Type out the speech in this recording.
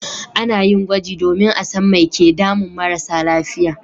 A na yin gwaji domin a san mai ke damun marasa lafiya